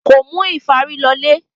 Kò mú ìfárí lọlé.